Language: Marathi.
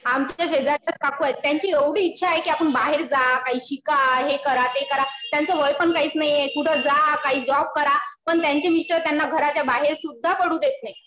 आमच्या शेजारच्या काकू आहेत. त्यांची एवढी इच्छा आहे कि आपण बाहेर जा. काही शिका. हे करा ते करा. त्यांचं वय पण काहीच नाहीये. कुठं जा. जॉब करा. पण त्यांचे मिस्टर त्यांना घराच्या बाहेर सुद्धा पडू देत नाहीत.